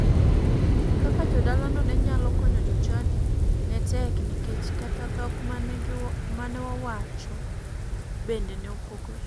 Kaka jodalano ne nyalo konyo jochadi ne tek nikech kata dhok mane wawacho bende ne opogore.